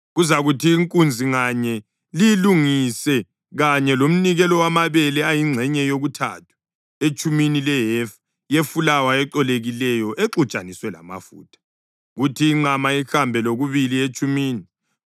Kuzakuthi inkunzi nganye liyilungise kanye lomnikelo wamabele ayingxenye yokuthathu etshumini lehefa yefulawa ecolekileyo exutshaniswe lamafutha; kuthi inqama ihambe lokubili etshumini;